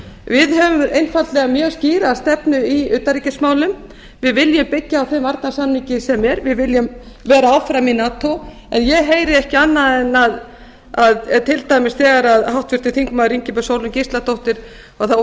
við höfum einfaldlega mjög skýra stefnu í utanríkismálum við viljum byggja á þeim varnarsamningi sem er við viljum vera áfram í nato en ég heyri ekki annað en að til dæmis þegar háttvirtur þingmaður ingibjörg sólrún gísladóttir þá